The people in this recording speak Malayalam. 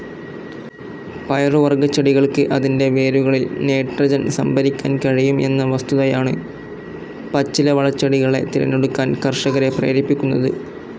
പയറുവർഗച്ചെടികൾക്ക് അതിൻ്റെ വേരുകളിൽ നൈട്രോജൻ സംഭരിക്കാൻ കഴിയും എന്ന വസ്തുതായണ് പച്ചിലവളച്ചെടികളെ തിരഞ്ഞെടുക്കാൻ കർഷകരെ പ്രേരിപ്പിക്കുന്നത്.